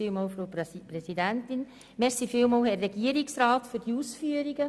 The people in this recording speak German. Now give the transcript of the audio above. Vielen Dank, Herr Regierungsrat, für Ihre Ausführungen.